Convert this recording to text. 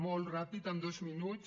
molt ràpid en dos minuts